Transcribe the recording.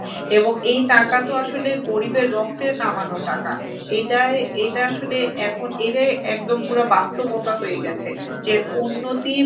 এবং এই টাকা তো আসলে গরিবের রক্তের কামানো টাকা। এটায় এটা আসলে এখন এটাই একদম পুরা বাস্তবতা হয়েগেছে। যে উন্নতি